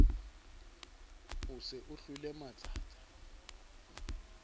o se o hlwele matsatsa